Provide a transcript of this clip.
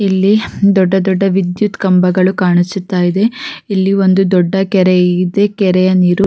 ಇಲ್ಲಿ ದೊಡ್ಡ ದೊಡ್ಡ್ದ ವಿದ್ಯುತ್ ಕಂಬಗಳು ಕಾಣಿಸುತ್ತ ಇದೆ ಇಲ್ಲಿ ಒಂದು ದೊಡ್ಡ ಕೆರೆ ಇದೆ ಕೆರೆಯ ನೀರು-